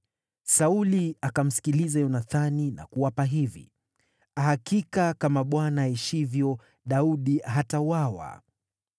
Sauli akamsikiliza Yonathani na kuapa hivi: “Hakika kama Bwana aishivyo, Daudi hatauawa.”